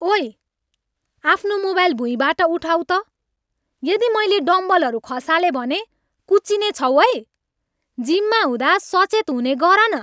ओई, आफ्नो मोबाइल भुइँबाट उठाऊ त, यदि मैले डम्बलहरू खसालेँ भने कुच्चिने छौ है, जिममा हुँदा सचेत हुने गर न।